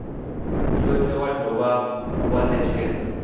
yothe wa dovha wa netshedza